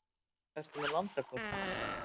Ertu með landakort?